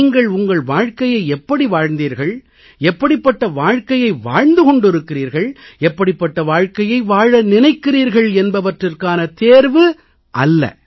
நீங்கள் உங்கள் வாழ்க்கையை எப்படி வாழ்ந்தீர்கள் எப்படிப்பட்ட வாழ்க்கையை வாழ்ந்து கொண்டிருக்கிறீர்கள் எப்படிப்பட்ட வாழ்க்கையை வாழ நினைக்கிறீர்கள் என்பவற்றிற்கான தேர்வு அல்ல